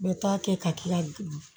Bɛ taa kɛ ka k'i ka du